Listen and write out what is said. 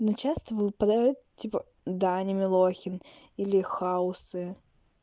но часто выпадает типа даня милохин или хаосы